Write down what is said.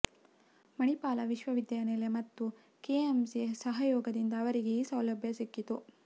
ಮಣಿಪಾಲ ವಿಶ್ವವಿದ್ಯಾಲಯ ಮತ್ತು ಕೆಎಂಸಿ ಸಹಯೋಗದಿಂದ ಅವರಿಗೆ ಈ ಸೌಲಭ್ಯ ಸಿಕ್ಕಿತ್ತು